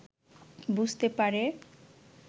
বুঝতে পারে